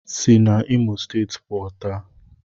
Si n'Imo steeti puo, taa!